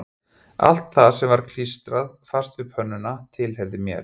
Allt það sem var klístrað fast við pönnuna tilheyrði mér